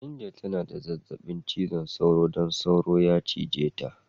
Angel ta na da zazzabi cizon soro don soro ya cije ta.